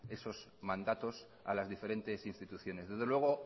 esos mandatos a las diferentes instituciones desde luego